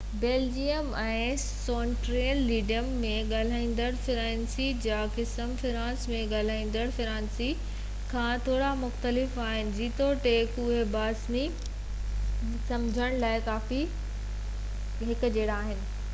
Belgium ۽ Switzerland ۾ ڳالهائيندڙ فرانسيسي جا قسم فرانس ۾ ڳالهائيندڙ فرانسيسي کان ٿورا مختلف آهن جيتوڻڪ اهي باهمي سمجهڻ لاءِ ڪافي هڪجهڙا آهن